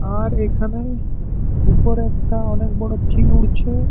আর এইখানে উপরে একটা অনেক বড় চিল উড়ছে।